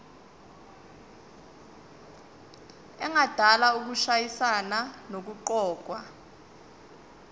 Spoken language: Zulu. engadala ukushayisana nokuqokwa